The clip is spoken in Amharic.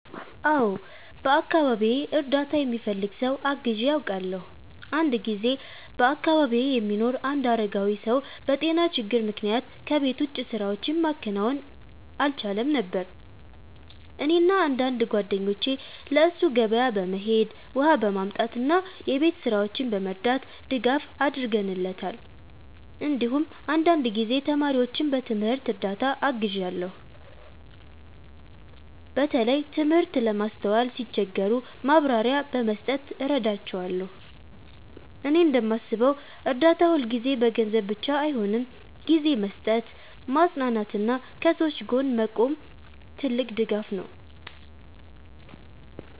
አዎ፣ በአካባቢዬ እርዳታ የሚፈልግ ሰው አግዤ አውቃለሁ። አንድ ጊዜ በአካባቢዬ የሚኖር አንድ አረጋዊ ሰው በጤና ችግር ምክንያት ከቤት ውጭ ስራዎችን ማከናወን አልቻለም ነበር። እኔና አንዳንድ ጓደኞቼ ለእሱ ገበያ በመሄድ፣ ውሃ በማምጣት እና የቤት ስራዎችን በመርዳት ድጋፍ አድርገንለታል። እንዲሁም አንዳንድ ጊዜ ተማሪዎችን በትምህርት እርዳታ አግዣለሁ፣ በተለይ ትምህርት ለማስተዋል ሲቸገሩ ማብራሪያ በመስጠት እረዳቸዋለሁ። እኔ እንደማስበው እርዳታ ሁልጊዜ በገንዘብ ብቻ አይሆንም፤ ጊዜ መስጠት፣ ማጽናናት እና ከሰዎች ጎን መቆምም ትልቅ ድጋፍ ነው።